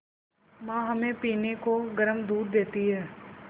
माँ हमें पीने को गर्म दूध देती हैं